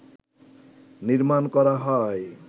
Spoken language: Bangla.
নির্মাণ করা হয়